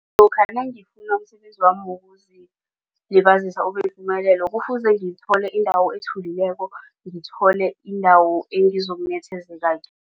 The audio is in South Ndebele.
Lokha nangifuna umsebenzami wokuzilibazisa ubeyipumelelo kufuze ngithole indawo ethulileko ngithole indawo engizokunethezeka